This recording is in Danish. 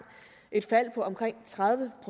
et fald på omkring tredive